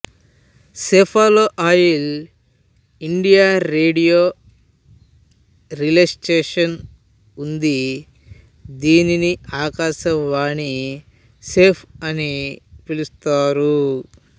సెప్పాలో all India radio relay station ఉంది దీనిని ఆకాశవాణి సెప్ప అని పిలుస్తారు